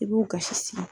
I b'u kasi